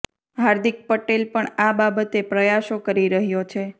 હાર્દિક પટેલ પણ અા બાબતે પ્રયાસો કરી રહ્યો છે